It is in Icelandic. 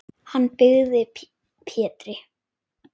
Hann byggði Pétri